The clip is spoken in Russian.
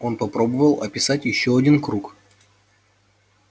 он попробовал описать ещё один круг